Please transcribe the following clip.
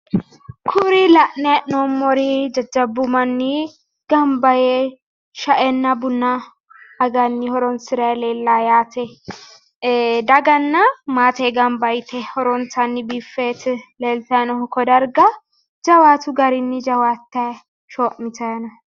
Kuri la'nayi hee'nommori jajjabbu manni gamba yee sha"enna buna aganni horonsirayi leellawo yaate ee daganna maate gamba yite horontanni biiffeti leeltayi noohu ko darga jawaatu garinni jawaattayi shoo'mitayi no